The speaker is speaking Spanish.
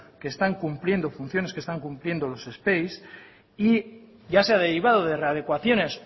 que están cumpliendo funciones los y ya se ha derivado de readecuaciones